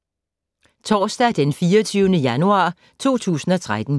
Torsdag d. 24. januar 2013